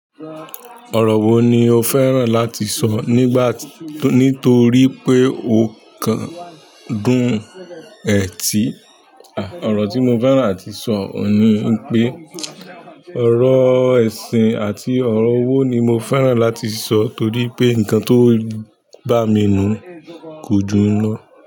Ọ̀rọ̀ wo ni o fẹ́ràn láti sọ nígbà— nítorí pé o kan dún ẹ̀ tí, ọ̀rọ̀ tí mo fẹ́ràn àti sọ òun ni wípé, ọ̀rọ̀ ẹ̀sìn àti ọ̀rọ̀ owó ni mo fẹ́ràn láti sọ torípé ǹǹkan tó ń—bá mi nún, kò jù yẹn lọ.